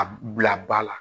A bila ba la